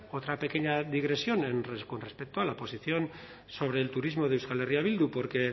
otra pequeña digresión en con respecto a la posición sobre el turismo de euskal herria bildu porque